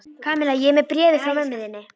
Kamilla, ég er með bréfið frá mömmu þinni.